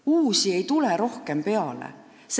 Uusi ei tule peale.